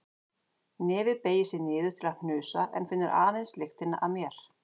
Nefið beygir sig niður til að hnusa en finnur aðeins lyktina af mér.